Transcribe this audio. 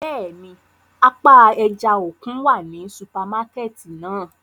Bẹ́ẹ̀ni, apa ẹja-okun wa ni supamakẹti náa.